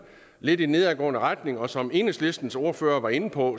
lidt i nedadgående retning og som enhedslistens ordfører var inde på